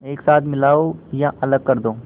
एक साथ मिलाओ या अलग कर दो